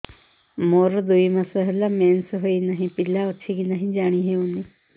ମୋର ଦୁଇ ମାସ ହେଲା ମେନ୍ସେସ ହୋଇ ନାହିଁ ପିଲା ଅଛି କି ନାହିଁ ଜାଣି ହେଉନି